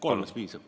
Kolmest piisab.